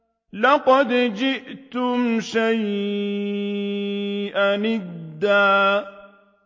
لَّقَدْ جِئْتُمْ شَيْئًا إِدًّا